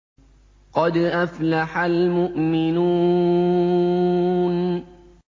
قَدْ أَفْلَحَ الْمُؤْمِنُونَ